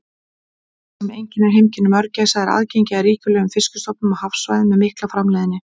Það sem einkennir heimkynni mörgæsa er aðgengi að ríkulegum fiskistofnum á hafsvæðum með mikla framleiðni.